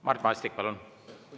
Mart Maastik, palun!